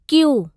Q